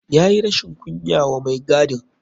Ya yi rashin kunya wa mai gadin.